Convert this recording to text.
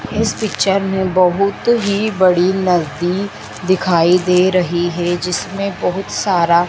इस पिक्चर में बहुत ही बड़ी नदी दिखाई दे रही है जिसमें बहुत सारा--